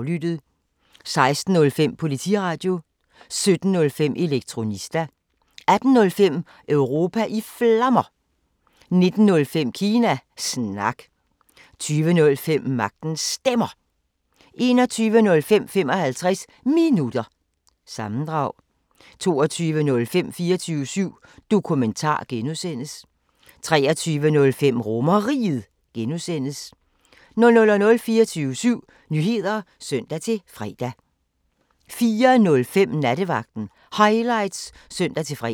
16:05: Politiradio 17:05: Elektronista 18:05: Europa i Flammer 19:05: Kina Snak 20:05: Magtens Stemmer 21:05: 55 Minutter – sammendrag 22:05: 24syv Dokumentar (G) 23:05: RomerRiget (G) 00:00: 24syv Nyheder (søn-fre) 04:05: Nattevagten Highlights (søn-fre)